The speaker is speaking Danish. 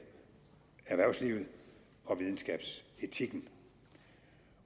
erhvervslivet og videnskabsetikken